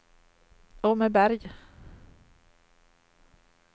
Åmmeberg